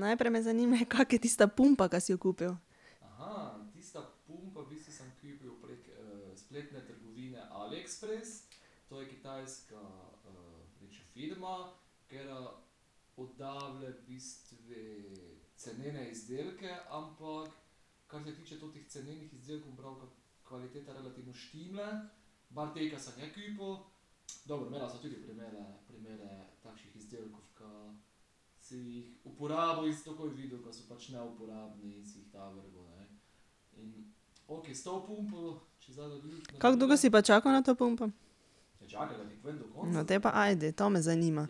Najprej me zanima, kako je tista pumpa, ka si jo kupil. Kako dugo si pa čakal na to pumpo? No, potem pa ajde, to me zanima.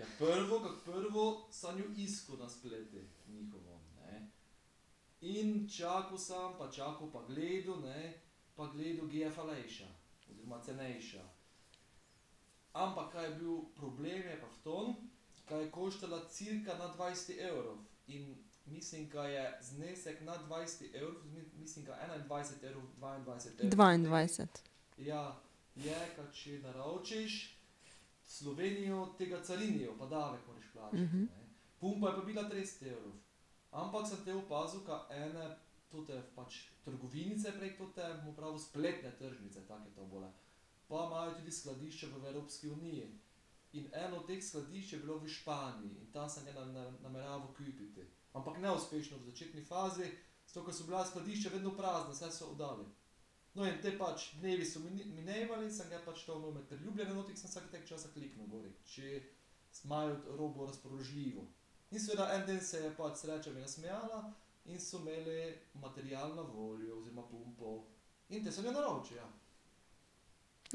Dvaindvajset.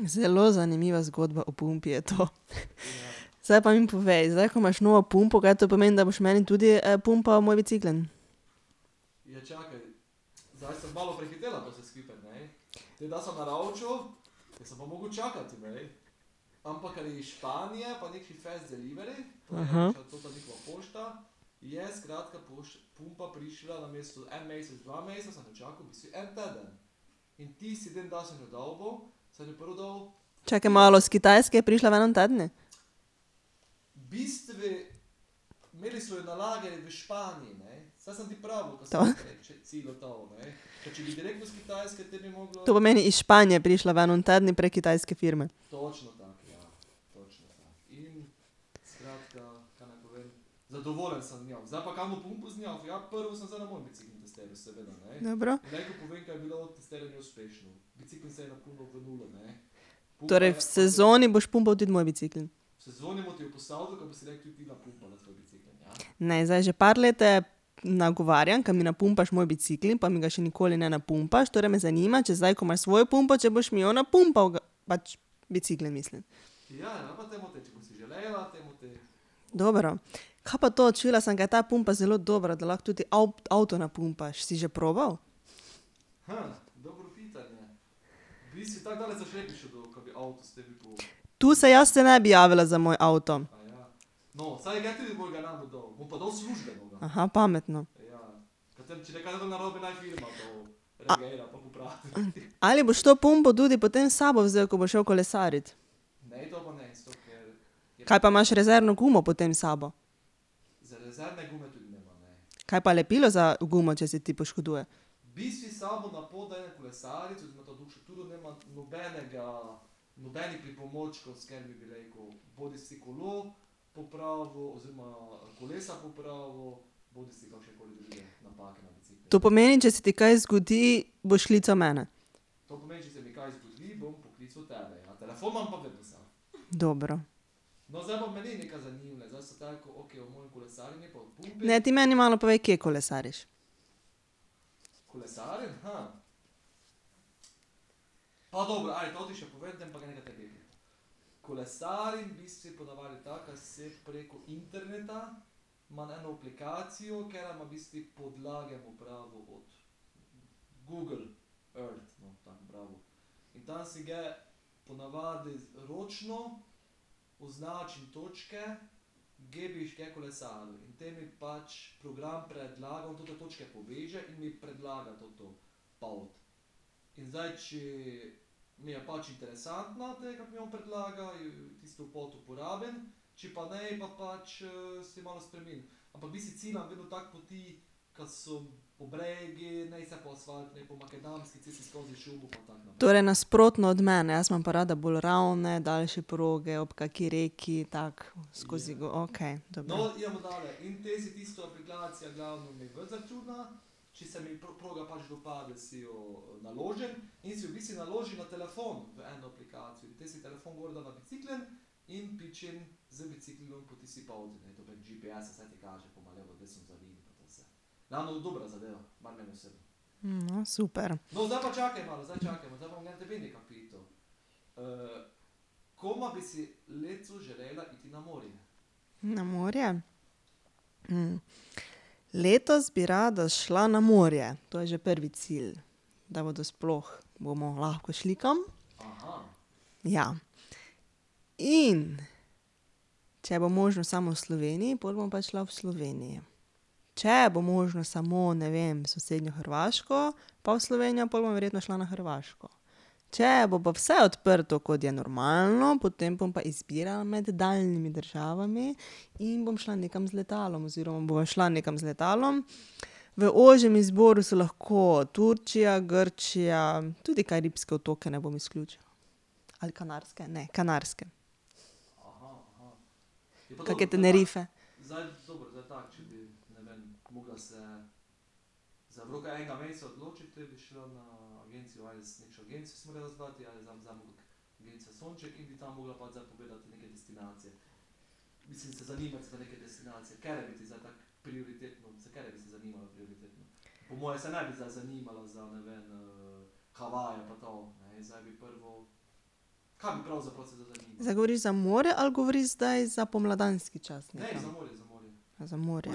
Zelo zanimiva zgodba o pumpi je to, . Zdaj pa mi povej, zdaj, ko imaš novo pumpo, kaj to pomeni, da boš meni tudi pumpal moj bicikel? Čakaj malo, s Kitajske je prišla v enem tednu? To. To pomeni, iz Španije je prišla v enem tednu prek kitajske firme. Dobro. Torej v sezoni boš pumpal tudi moj bicikel? Ne, zdaj že par let te nagovarjam, ke mi napumpaš moj bicikel, pa mi ga še nikoli ne napumpaš, torej me zanima, če zdaj, ko imaš svojo pumpo, če boš mi jo napumpal pač bicikle, mislim. Dobro. Kaj pa to, čula sem, ge ta pumpa zelo dobra, da lahko toti avto napumpaš, si že probal? To se jaz, se ne bi javila za moj avto. pametno. Ali boš to pumpo tudi potem s sabo vzel, ko boš šel kolesarit? Kaj pa imaš, rezervno gumo potem s sabo? Kaj pa lepilo za gumo, če se ti poškoduje? To pomeni, če se ti kaj zgodi, boš klical mene? Dobro. Ne, ti meni malo povej, kje kolesariš. Torej nasprotno od mene, jaz imam pa rada bolj ravne, daljše proge ob kaki reki, tako, skozi okej, dobro. no, super. Na morje? letos bi rada šla na morje, to je že prvi cilj, da bodo sploh, bomo lahko šli kam. Ja. In, če bo možno samo v Sloveniji, pol bom pa šla v Sloveniji. Če bo možnost samo, ne vem, sosednjo Hrvaško pa v Slovenijo, pol bom verjetno šla na Hrvaško. Če bo pa vse odprto, kot je normalno, potem bom pa izbirala med daljnimi državami in bom šla nekam z letalom oziroma bova šla nekam z letom, . V ožjem izboru so lahko Turčija, Grčija, tudi Karibske otoke ne bom izključila ali Kanarske, ne, Kanarske. Pa kakšne Tenerife. Zdaj govoriš za morje ali govoriš zdaj za pomladanski čas? Za morje.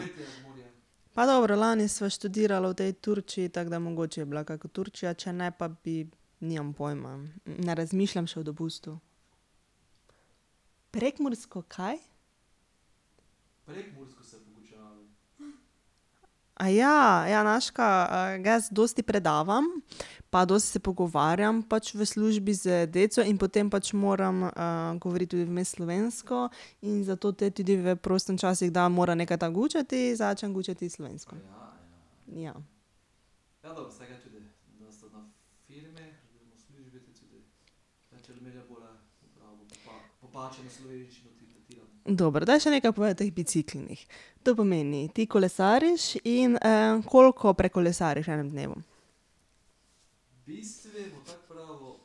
Pa dobro, lani sva študirala o tej Turčiji, tako da mogoče bi bila kaka Turčija, če ne pa bi, nimam pojma. Ne razmišljam še o dopustu. Prekmursko, kaj? ja, znaš kaj, jaz dosti predavam, pa dosti se pogovarjam pač v službi z deco in potem pač moram govoriti tudi vmes slovensko in zato te tudi v prostem času kdaj mora neka tako gučati, začnem gučati slovensko. Dobro, daj, še nekaj povej o teh biciklih. To pomeni, ti kolesariš, in koliko prekolesariš v enem dnevu?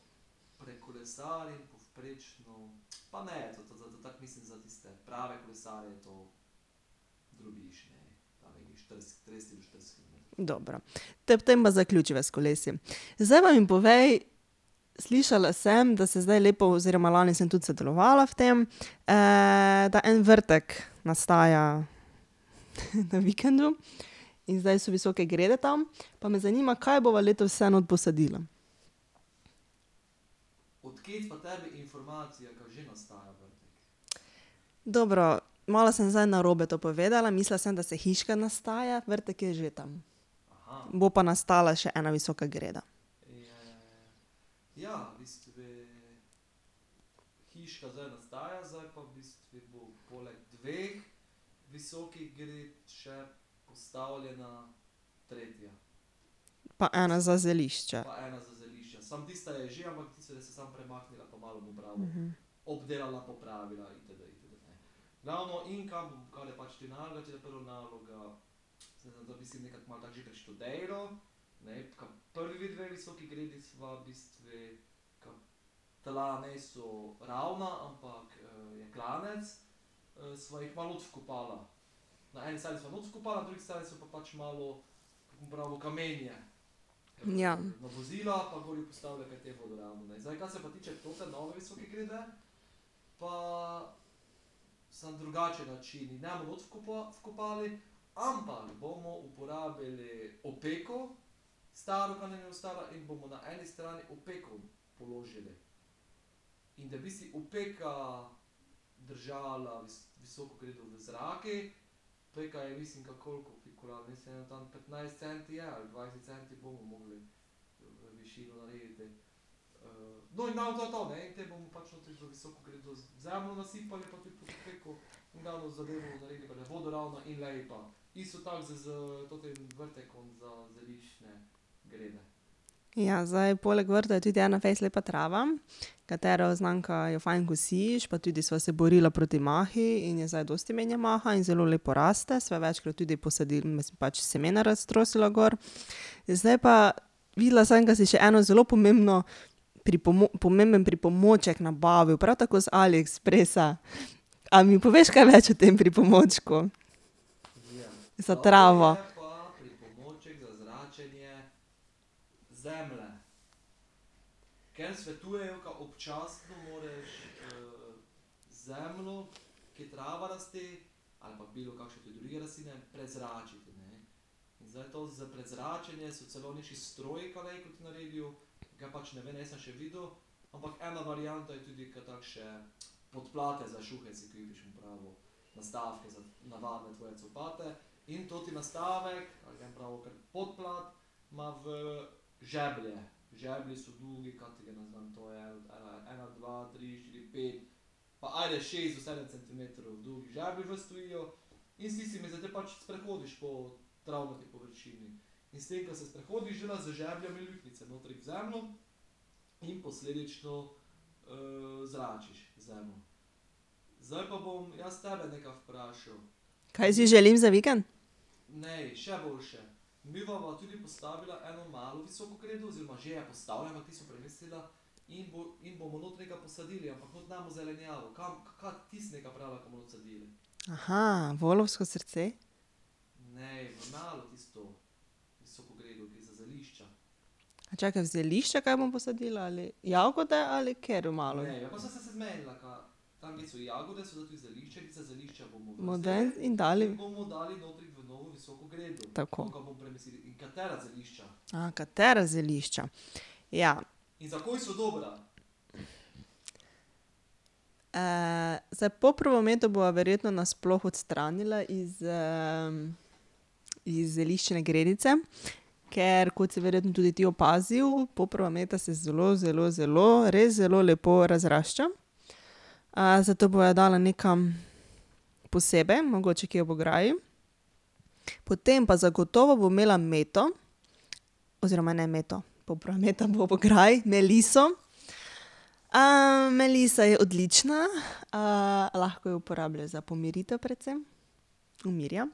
Dobro. Tako tem pa zaključiva s kolesi. Zdaj pa mi povej, slišala sem, da se zdaj lepo oziroma lani sem tudi sodelovala v tem, da en vrtek nastaja na vikendu. In zdaj so visoke grede tam, pa me zanima, kaj bova letos vse not posadila? Dobro, malo sem zdaj narobe to povedala, mislila sem, da se hiška nastaja, vrtek je že tam. Bo pa nastala še ena visoka greda. Pa ena za zelišča. Ja. Ja, zdaj poleg vrta je tudi ena fejst lepa trava, katero znam, ka jo fajn kosiš, pa tudi sva se borila proti mahu in je zdaj dosti manj maha in zelo lepo raste, sva jo večkrat tudi pač semena raztrosila gor, zdaj pa, videla sem, ka si še eno zelo pomembno pomemben pripomoček nabavil, prav tako z AliExpressa, . A mi poveš kaj več o tem pripomočku? Za travo. Kaj si želim za vikend? volovsko srce. Čakaj, zelišča, kaj bom posadila, ali ... Jagode ali katero malo ... Model in dali ... Tako. katera zelišča. Ja. zdaj poprovo meto bova verjetno nasploh odstranila iz, iz zeliščne gredice, ker, kot si verjetno tudi ti opazil, poprova meta se zelo, zelo, zelo, res zelo lepo razrašča. zato bova dala nekam posebej, mogoče kje ob ograji. Potem pa zagotovo bom imela meto , oziroma ne meto, meta bo ob ograji, meliso, melisa je odlična, lahko jo uporabljaš za pomiritev predvsem, umirja.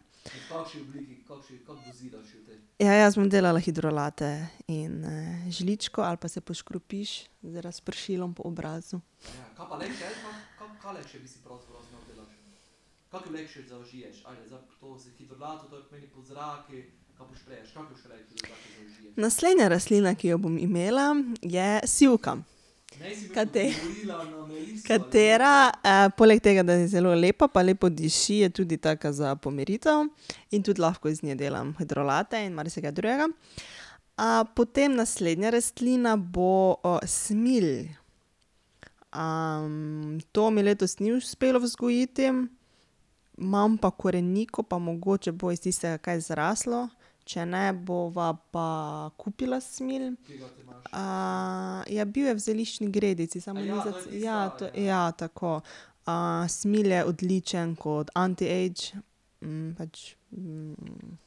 Ja, jaz bom delala hidrolate. In z žličko ali pa se poškropiš z razpršilom po obrazu. Naslednja rastlina, ki jo bom imela, je sivka. katera, polg tega, da je zelo lepa pa lepo diši, je tudi taka za pomiritev. In tudi lahko iz nje delam hidrolate in marsikaj drugega. potem naslednja rastlina bo smilj. to mi letos ni uspelo vzgojiti, imam pa koreniko pa mogoče bo iz tistega kaj zraslo, če ne bova pa kupila smilj. ja, bil je v zeliščni gredici, samo ne vem za ja, to, ja, tako. smilj je odličen kot antiage, pač,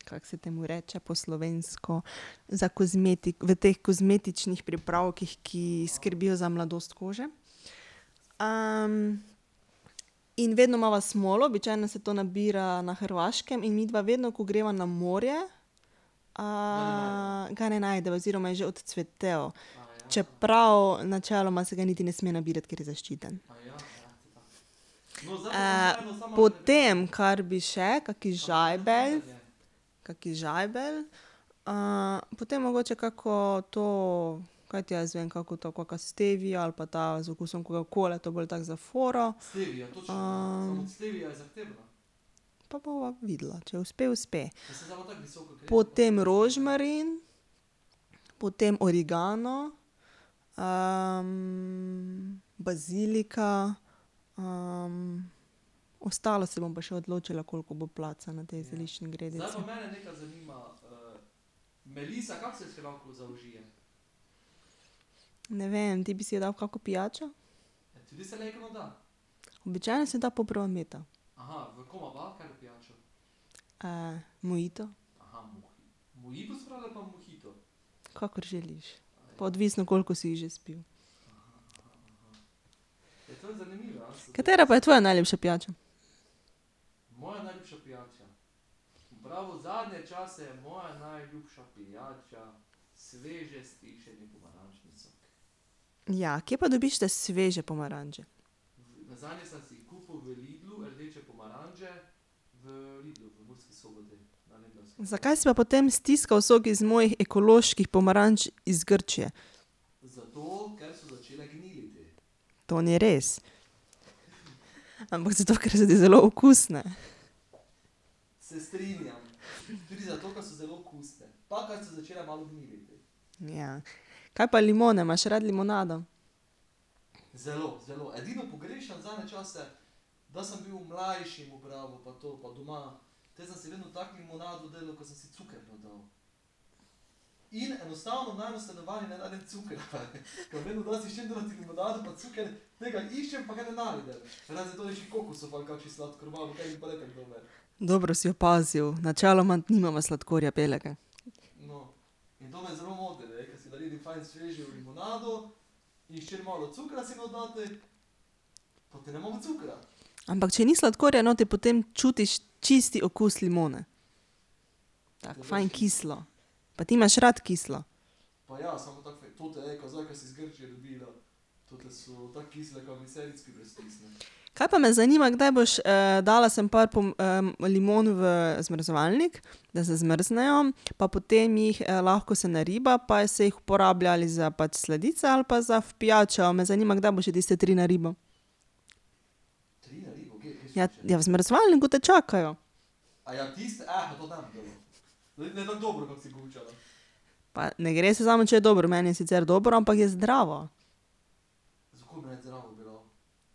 kako se temu reče po slovensko, za v teh kozmetičnih pripravkih, ki skrbijo za mladost kože. in vedno imava smolo, običajno se to nabira na Hrvaškem in midva vedno, ko greva na morje, ga ne najdeva oziroma je že odcvetel. Čeprav načeloma se ga niti ne sme nabirati, ker je zaščiten. potem, kar bi še, kak žajbelj, kak žajbelj, potem mogoče kako to, kaj ti jaz vem, kako to, kaka stevia ali pa ta z okusom kokakole, to bolj tako za foro. Pa bova videla, če uspe, uspe. Potem rožmarin, potem origano, bazilika, ostalo se bom pa še odločila, koliko bo placa na tej zeliščni gredici. Ne vem, ti bi si dal v kako pijačo. Običajno se da poprova meta. mojito. Kakor želiš, pa odvisno, koliko si jih že spil. Katera je pa tvoja najljubša pijača? Ja, kje pa dobiš te sveže pomaranče? Zakaj si pa potem stiskal sok iz mojih ekoloških pomaranč iz Grčije? To ni res. Ampak zato, ker so ti zelo okusne. Kaj pa limone, imaš rad limonado? Dobro si opazil, načeloma nimamo sladkorja belega. Ampak če ni sladkorja notri, potem čutiš čisti okus limone. Tako fajn kislo. Pa ti imaš rad kislo. Kaj pa, me zanima, kdaj boš, dala sem par limon v zmrzovalnik, da zamrznejo, pa potem jih lahko se nariba pa se jih uporablja ali za pač sladice ali pa za v pijačo, a me zanima, kdaj boš še tiste tri naribal. Ja, ja, v zmrzovalniku te čakajo. Pa ne gre se samo, če je dobro, meni je sicer dobro, ampak je zdravo.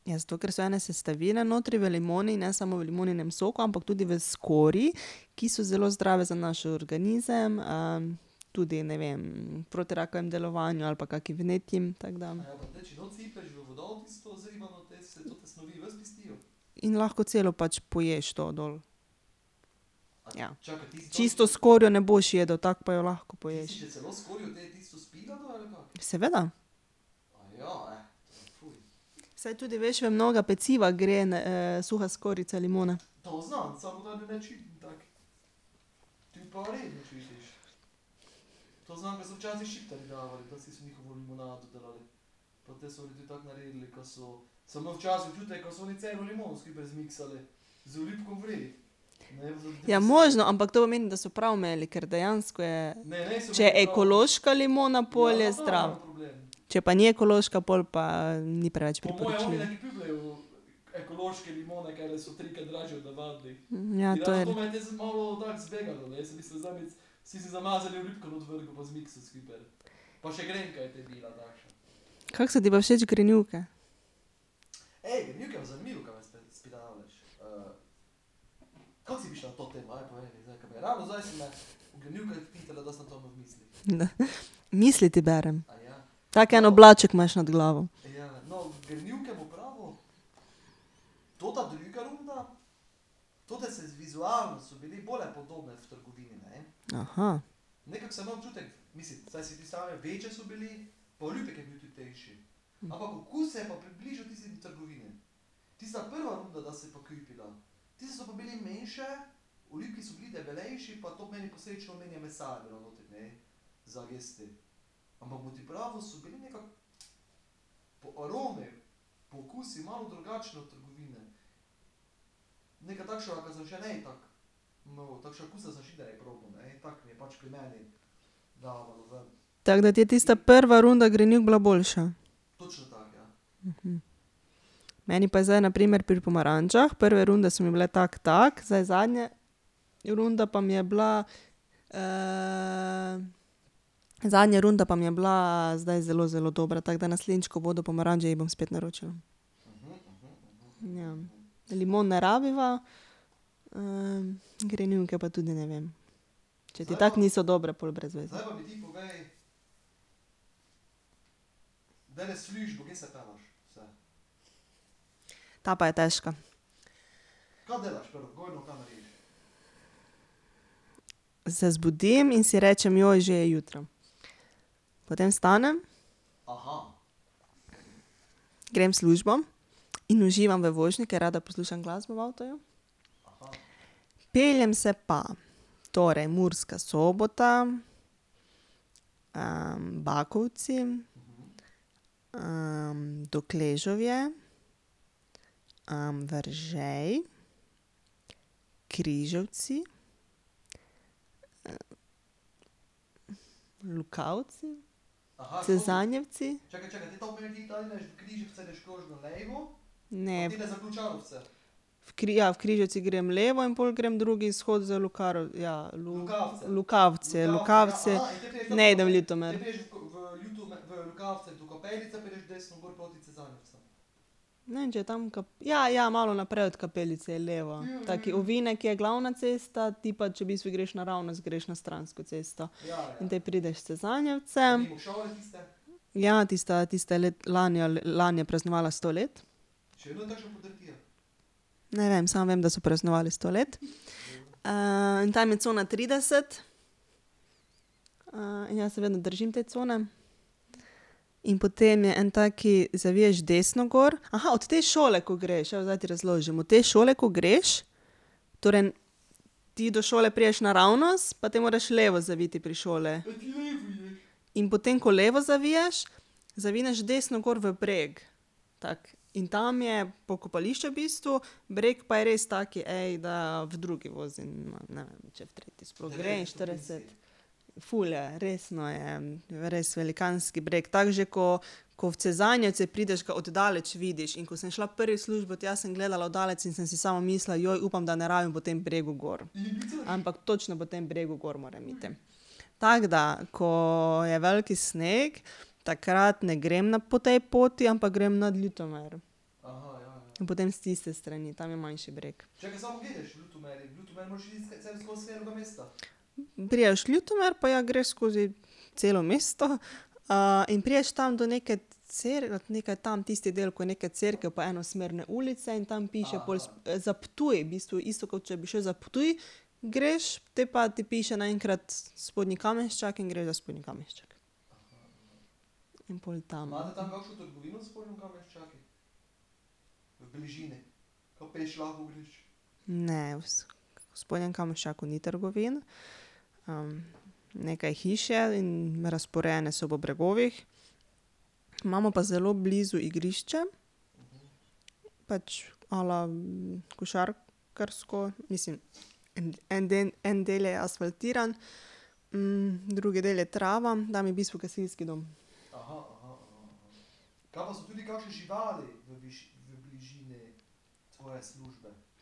Ja, zato ker so ene sestavine notri v limoni, ne samo v limoninem soku, ampak tudi v skorji, ki so zelo zdrave za naš organizem, tudi, ne vem, proti rakavemu delovanju ali pa kakim vnetjem, tako da ... In lahko celo pač poješ, to dol. Ja. Čisto skorjo ne boš jedel, tako pa jo lahko poješ. Seveda. Saj tudi, veš, v mnoga peciva gre suha skorjica limone. Ja, možno, ampak to pomeni, da so prav imeli, ker dejansko je ... Če je ekološka limona, pol je zdrav. Če pa ni ekološka, pol pa ni preveč prepričljiv. Ja, to je ... Kako so ti pa všeč grenivke? Misli ti berem. Tak en oblaček imaš nad glavo. Tako da ti je tista prva runda grenivk bila boljša. Meni pa zdaj na primer pri pomarančah, prve runde so mi bile tako tako, zdaj zadnje runda pa mi je bila, zadnja runda pa mi je bila zdaj zelo, zelo dobra, tako da naslednjič, ko bodo pomaranče, jih bom spet naročila. Ja. Limon ne rabiva, grenivke pa tudi ne vem. Če ti tako niso dobre, pol brez veze. Ta pa je težka. Se zbudim in si rečem: že je jutro." Potem vstanem, grem v službo, in uživam v vožnji, ker rada poslušam glasbo v avtu. Peljem se pa: torej, Murska Sobota, Bakovci, Dokležovje, Veržej, Križevci, Lukavci, Cezanjevci ... Ne. ja, v Križevcih grem levo in pol grem drugi izhod za ja, ... Lukavce, Lukavce, ne idem v Ljutomer. Ne vem, če je tam ... Ja, ja, malo naprej od kapelice je levo, taki ovinek je, glavna cesta ti, pa če, v bistvu greš naravnost greš, na stransko cesto. In te prideš v Cezanjevce ... Ja, tista, tista lani ali lani je praznovala sto let. Ne vem, samo vem, da so praznovali sto let. in tam je cona trideset. in jaz se vedno držim te cone. In potem je en tak, zaviješ desno gor, od te šole, ko greš, ja, zdaj ti razložim, od te šole, ko greš, torej ti do šole prideš naravnost, pa te moraš levo zaviti pri šoli. In potem, ko levo zaviješ, zavineš desno gor v breg. Tako, in tam je pokopališče v bistvu, breg pa je res tak, da v drugi vozim, ma ne vem, če v tretji sploh gre, in štirideset ... Ful je, resno je, res velikanski breg, tako že, ko, ko v Cezanjevce prideš, ga od daleč vidiš, in ko sem šla prvič v službo tja, sem gledala od daleč in sem si samo mislila: upam, da ne rabim po tem bregu gor." Ampak točno po tem bregu gor moram iti. Tako da, ko je velik sneg, takrat ne grem na, po tej poti, ampak grem nad Ljutomerom. In potem s tiste strani, tam je manjši breg. Prideš Ljutomer, pa ja, greš skozi celo mesto, in prideš tam do neke nekaj tam, tisti del, ko je neka cerkev pa enosmerne ulice, in tam piše pol za Ptuj, v bistvu, isto, kot če bi šel za Ptuj, greš, te pa ti piše naenkrat Spodnji Kamenščak in greš do Spodnji Kamenščak. In pol tam ... Ne, ... V Spodnjem Kamenščaku ni trgovin, nekaj hiš je in razporejane so po bregovih, imamo pa zelo blizu igrišče, pač, a la košarkarsko, mislim, en en del je asfaltiran, drugi del je trava, tam je v bistvu gasilski dom.